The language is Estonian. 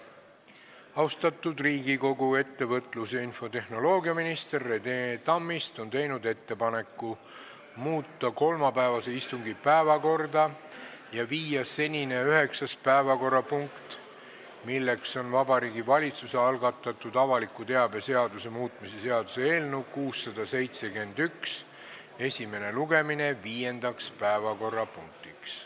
Austatud Riigikogu, ettevõtlus- ja infotehnoloogiaminister Rene Tammist on teinud ettepaneku muuta päevakorda ja viia kolmapäevane üheksas päevakorrapunkt, Vabariigi Valitsuse algatatud avaliku teabe seaduse muutmise seaduse eelnõu 671 esimene lugemine, viiendaks päevakorrapunktiks.